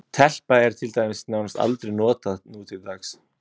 Telpa er til dæmis nánast aldrei notað nútildags.